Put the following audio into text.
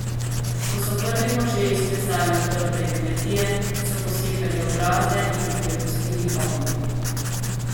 Ko so Prvi možje izklesali utrdbe in kmetije, so posekali obraze in jih prepustili ognju.